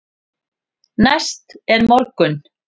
Næst er morgunn.